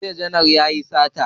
Jiya janar yayi sata